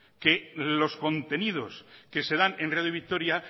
que los contenidos que se dan en radio vitoria